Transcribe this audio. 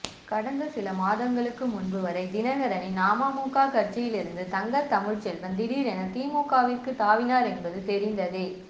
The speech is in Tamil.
கடந்த சில மாதங்களுக்கு முன்பு வரை தினகரனின் அமமுக கட்சியில் இருந்த தங்கத்தமிழ்செல்வன் திடீரென திமுகவிற்கு தாவினார் என்பது தெரிந்ததே